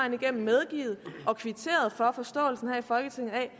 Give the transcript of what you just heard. igennem medgivet og kvitteret for forståelsen her i folketinget af at